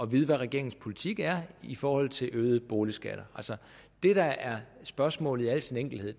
vide hvad regeringens politik er i forhold til øgede boligskatter det der er spørgsmålet i al sin enkelhed